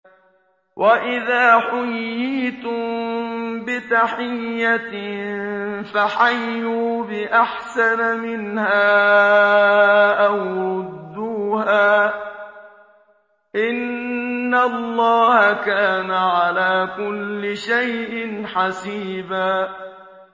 وَإِذَا حُيِّيتُم بِتَحِيَّةٍ فَحَيُّوا بِأَحْسَنَ مِنْهَا أَوْ رُدُّوهَا ۗ إِنَّ اللَّهَ كَانَ عَلَىٰ كُلِّ شَيْءٍ حَسِيبًا